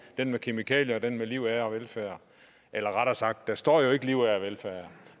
den med kemikalier og den med liv ære og velfærd eller rettere sagt der står jo ikke liv ære og velfærd